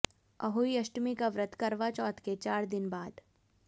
अहोई अष्टमी का व्रत करवा चौथ के चार दिन बाद